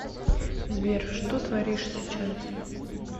сбер что творишь сейчас